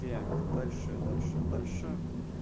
так дальше дальше дальше